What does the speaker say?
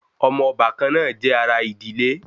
Omo obakan naa je ara idile